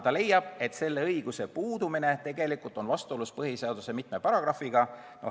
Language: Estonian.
Ta leiab, et selle õiguse puudumine on vastuolus põhiseaduse mitme paragrahviga.